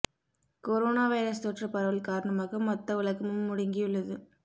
corona virus தொற்று பரவல் காரணமாக மொத்த உலகமும் முடங்கியுள்ளது